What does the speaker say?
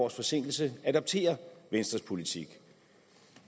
års forsinkelse adopterer venstres politik